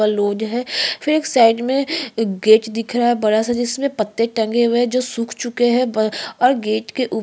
load है फिर एक साइड में एक गेट दिख रहा है बड़ा सा जिसमें पत्ते टंगे हुए है जो सुख चुके है और गेट के ऊ--